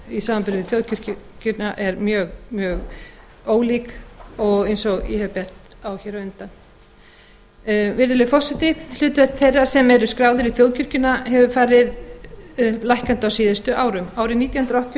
í samanburði við þjóðkirkjuna er gjörólík eins og ég hef bent á hér á undan virðulegi forseti hlutfall þeirra sem eru skráðir í þjóðkirkjuna hefur farið lækkandi á síðustu árum árið nítján hundruð áttatíu og